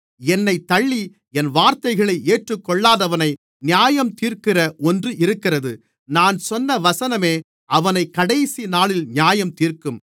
என்னைத் தள்ளி என் வார்த்தைகளை ஏற்றுக்கொள்ளாதவனை நியாயந்தீர்க்கிற ஒன்று இருக்கிறது நான் சொன்ன வசனமே அவனைக் கடைசிநாளில் நியாயந்தீர்க்கும்